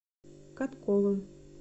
катковым